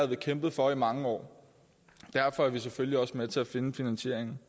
vi kæmpet for i mange år derfor er vi selvfølgelig også med til at finde finansieringen